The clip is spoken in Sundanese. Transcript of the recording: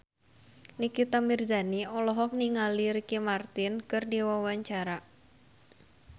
Nikita Mirzani olohok ningali Ricky Martin keur diwawancara